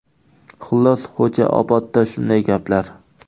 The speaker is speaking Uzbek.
Xullas, Xo‘jaobodda shunday gaplar.